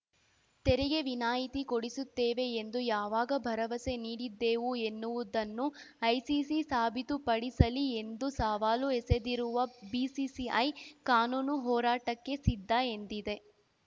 ತೆರಿಗೆ ವಿನಾಯಿತಿ ಕೊಡಿಸುತ್ತೇವೆ ಎಂದು ಯಾವಾಗ ಭರವಸೆ ನೀಡಿದ್ದೆವು ಎನ್ನುವುದನ್ನು ಐಸಿಸಿ ಸಾಬೀತುಪಡಿಸಲಿ ಎಂದು ಸವಾಲು ಎಸೆದಿರುವ ಬಿಸಿಸಿಐ ಕಾನೂನು ಹೋರಾಟಕ್ಕೆ ಸಿದ್ಧ ಎಂದಿದೆ